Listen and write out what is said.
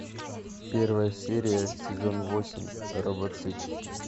первая серия сезон восемь робоцып